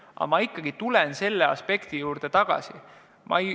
Aga ma ikkagi tulen põhiteema juurde tagasi.